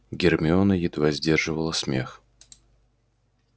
гермиона едва сдерживала смех